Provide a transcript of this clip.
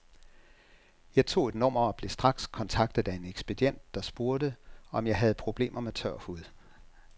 Jeg tog et nummer og blev straks kontaktet af en ekspedient, der spurgte, om jeg havde problemer med tør hud.